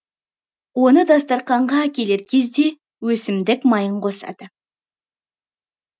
оны дастарқанға әкелер кезде өсімдік майын косады